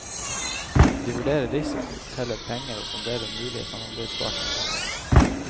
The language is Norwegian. De vurderer risiko, teller penger og sonderer mulige samarbeidspartnere.